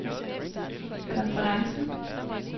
konferencen